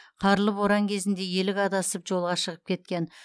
қарлы боран кезінде елік адасып жолға шығып кеткен